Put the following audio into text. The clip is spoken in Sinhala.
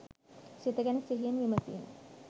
සිත ගැන සිහියෙන් විමසීම